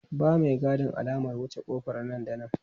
Ba maigadin alamar wuce ƙofar nan da nan!